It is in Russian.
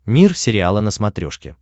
мир сериала на смотрешке